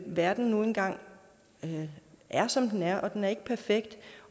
verden nu engang er som den er den er ikke perfekt